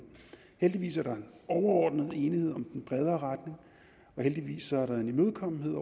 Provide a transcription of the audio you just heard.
heldigvis er der overordnet enighed om den bredere retning og heldigvis er der en imødekommenhed